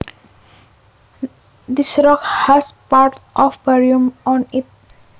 This rock has parts of barium on it